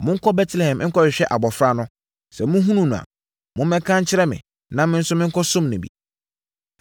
“Monkɔ Betlehem nkɔhwehwɛ abɔfra no. Sɛ mohunu no a, mommɛka nkyerɛ me, na me nso menkɔsom no bi.”